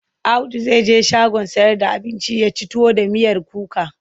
Audu zai je shagon sayar da abinci ya ci tuwo da miyar kuka.